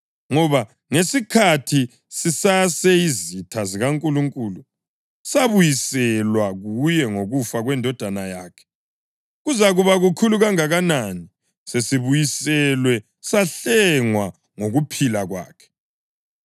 Ngoba ngesikhathi sisaseyizitha zikaNkulunkulu, sabuyiselwa kuye ngokufa kweNdodana yakhe, kuzakuba kukhulu kangakanani, sesibuyiselwe, sahlengwa ngokuphila kwakhe!